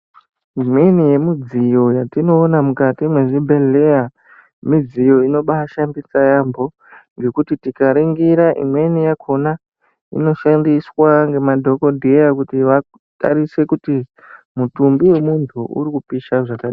Imweni yemudziyo yatinoona mukati mwezvibhedhleya midziyo inobaashandisa yaampo ngekuti tikaringira imweni yakhona inoshandiswa ngemadhokodheya kuti vatarise kuti mutumbi wemuntu uri kupisha zvaka.